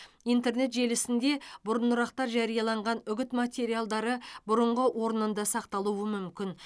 интернет желісінде бұрынырақта жарияланған үгіт материалдары бұрынғы орнында сақталуы мүмкін